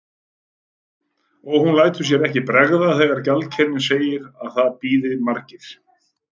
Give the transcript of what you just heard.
Og hún lætur sér ekki bregða þegar gjaldkerinn segir að það bíði margir.